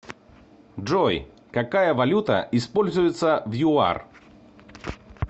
джой какая валюта используется в юар